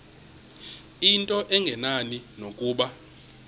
into engenani nokuba